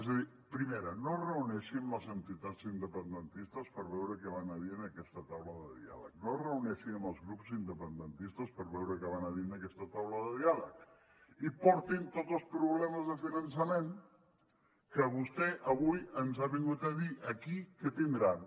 és a dir primera no es reuneixi amb les entitats independentistes per veure què van a dir en aquesta taula de diàleg no es reuneixi amb els grups independentistes per veure què van a dir en aquesta taula de diàleg i portin hi tots els problemes de finançament que vostè avui ens ha vingut a dir aquí que tindran